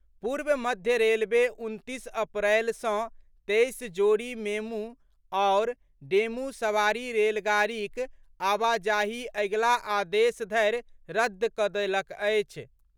पूर्व मध्य रेलवे उनतीस अप्रैल सँ तेईस जोड़ी मेमू आओर डेमू सवारी रेलगाड़ीक आवाजाही अगिला आदेश धरि रद्द कऽ देलक अछि।